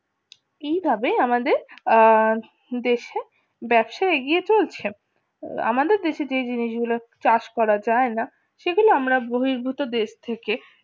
কিভাবে আমাদের দেশে ব্যবসা এগিয়ে চলছে আমাদের দেশে যে জিনিসগুলো চাষ করা যায় না সেগুলো আমরা বহির্ভূত দেশ থেকে